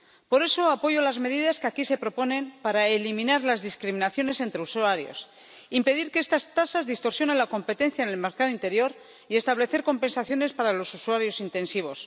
Por eso apoyo las medidas que aquí se proponen para eliminar las discriminaciones entre usuarios, impedir que estas tasas distorsionen la competencia en el mercado interior y establecer compensaciones para los usuarios intensivos.